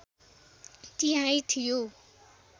तिहाइ थियो